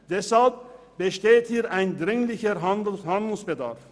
Deshalb besteht ein dringender Handlungsbedarf.